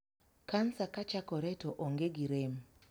Kansa kachakore to onge gi rem.